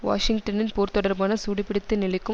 வாஷிங்டனின் போர் தொடர்பான சூடுபிடித்த நிலைக்கும்